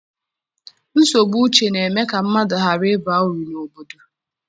Nsogbu uche na-eme ka mmadụ ghara ịba uru n'obodo.